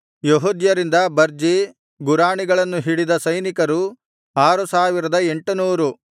ಯೆಹೂದ್ಯರಿಂದ ಬರ್ಜಿ ಗುರಾಣಿಗಳನ್ನು ಹಿಡಿದ ಸೈನಿಕರು ಆರು ಸಾವಿರದ ಎಂಟನೂರು